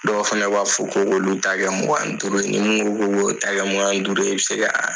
Dɔw fana b'a fɔ ko k'olu ta kɛ mugan ni duuru ye ni mun ko k'olu ta kɛ mugan ni duuru ye i bɛ se ka